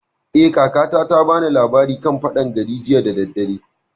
Eh, kakata ta bani labari a kan faɗan gari jiya da daddare